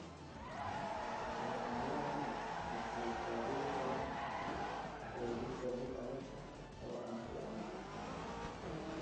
Calaamadahani waxay ka dhigi karaan quudinta mid adag oo aan fiicnayn.